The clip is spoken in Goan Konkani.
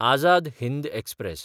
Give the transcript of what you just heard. आजाद हिंद एक्सप्रॅस